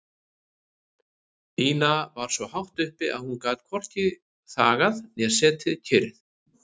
Ína var svo hátt uppi að hún gat hvorki þagað né setið kyrr.